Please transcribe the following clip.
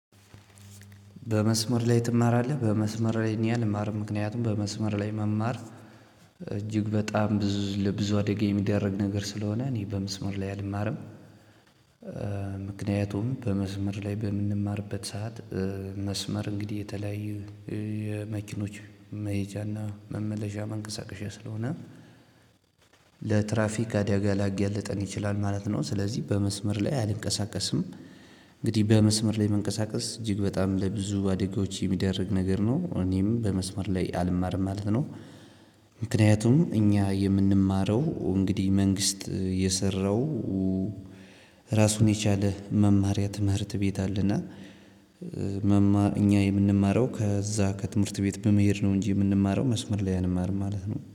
በመስመር ላይ ትማራለህ በመስመር አልማርም ምክንያቱም በመስመር ላይ መማር እጅግ በጣም ብዙ ለብዙ አደጋ የሚዳርግ ስለሆነ እኔ በመስመር ላይ አልማርም። ምክንያቱም በመስመር ላይ በምንማርበት ሰዓት መስመር እንግዲህ የተለያዩ የመኪኖች መሄጃና መመለሻ መንቀሳቀሻ ስለሆነ ለትራፊክ አደጋ ሊያጋልጠን ይችላል ማለት ነው። ስለዚህ በመስመር ላይ አልንቀሳቀስም። እንግዲህ በመስመር ላይ መንቀሳቀስ እጅግ በጣም ለብዙ አደጋዎች የሚዳርግ ነገር ነው እኔም በመስመር ላይ አልማርም ማለት ነው። ምክንያቱም እኛ የምንማረው እንግዲህ መንግስት የሰራው ራሱን የቻለ መማሪያ ትምህርት ቤት አለና አኛ የምንማረው ከዛ ከትምህርት ቤት በመሄድ ነው እንጂ የምንማረው መስመር ላይ አንማርም።